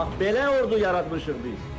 Bax belə ordu yaratmışıq biz.